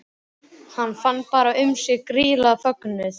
Hann fann fara um sig gríðarlegan fögnuð.